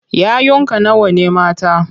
Yayunka nawa ne mata?